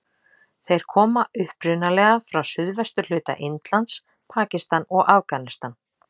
Þeir koma upprunalega frá suðvesturhluta Indlands, Pakistan og Afganistan.